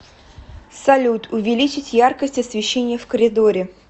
салют увеличить яркость освещения в коридоре